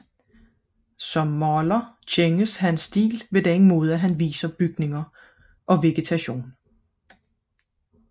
Som maler kendetegnes hans stil ved den måde han viser bygninger og vegetation